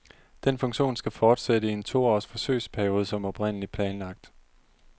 Den funktion skal fortsætte i en toårs forsøgsperiode som oprindelig planlagt.